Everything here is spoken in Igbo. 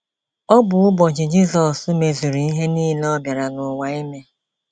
Ọ bụ ụbọchị Jizọs mezuru ihe nile ọ bịara n’ụwa ime.